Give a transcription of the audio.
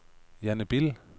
Janne Bille